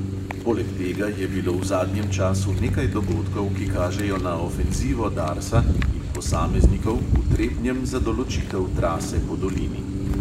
Poleg tega je bilo v zadnjem času nekaj dogodkov, ki kažejo na ofenzivo darsa in posameznikov v trebnjem za določitev trase po dolini.